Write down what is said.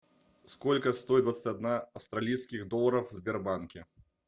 сколько стоит двадцать одна австралийских долларов в сбербанке